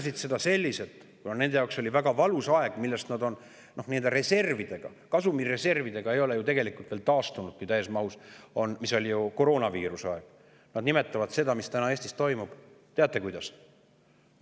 Kuna nende jaoks oli koroonaviiruse aeg väga valus aeg, millest nad ei ole kasumi ja reservide tegelikult veel täies mahus taastunudki, nimetavad nad seda, mis täna Eestis toimub – teate, kuidas?